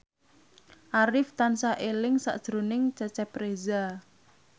Arif tansah eling sakjroning Cecep Reza